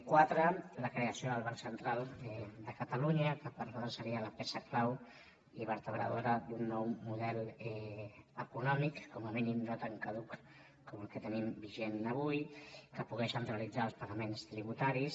quatre la creació del banc central de catalunya que per nosaltres seria la peça clau i vertebradora d’un nou model econòmic com a mínim no tan caduc com el que tenim vigent avui que pogués centralitzar els pagaments tributaris